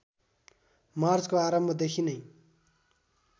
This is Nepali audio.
मार्चको आरम्भदेखि नै